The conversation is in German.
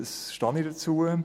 Dazu stehe ich.